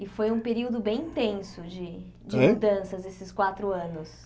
E foi um período bem intenso de Hein de mudanças nesses quatro anos.